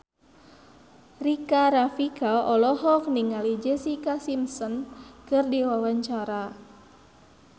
Rika Rafika olohok ningali Jessica Simpson keur diwawancara